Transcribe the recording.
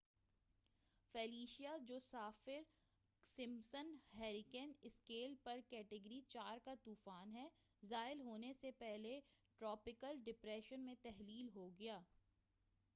Felicia جو Saffir Simpson hurricane scale پر category 4 کا طوفان ہے زائل ہونے سے پہلے ٹراپیکل ڈپریشن میں تحلیل ہو گیا